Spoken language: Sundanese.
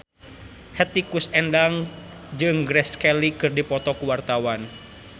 Hetty Koes Endang jeung Grace Kelly keur dipoto ku wartawan